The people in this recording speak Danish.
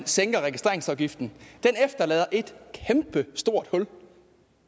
sænker registreringsafgiften efterlader et kæmpestort hul